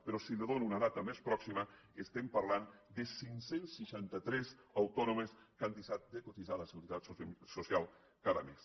però si li dono una dada més pròxima estem parlant de cinc cents i seixanta tres autònoms que han deixat de cotitzar a la seguretat social cada mes